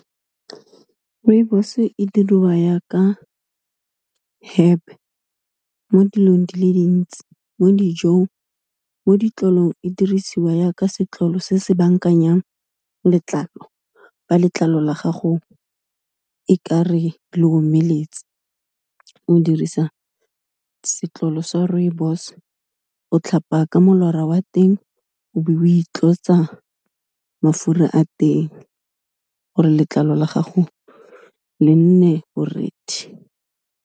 Rooibos e diriwa ya ka herb mo dilong di le dintsi mo dijong, mo ditlolong e dirisiwa ya ka setlolo se se bankanyang letlalo, fa letlalo la gago e kare le omeletse, o dirisa setlolo sa rooibos, o tlhapa ka molora wa teng, o be o itlotsa mafura a teng, gore letlalo la gago le nne borethe.